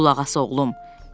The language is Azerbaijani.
Qulaq as oğlum.